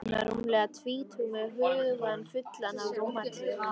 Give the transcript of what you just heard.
Þá var hún rúmlega tvítug með hugann fullan af rómantík.